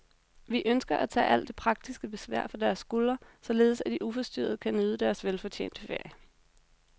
Vi ønsker at tage alt det praktiske besvær fra deres skuldre, således at de uforstyrret kan nyde deres velfortjente ferie.